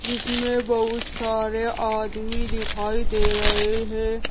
जिसमें बहुत सारे आदमी दिखाई दे रहे हैं।